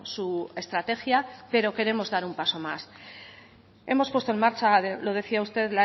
su estrategia pero queremos dar un paso más hemos puesto en marcha lo decía usted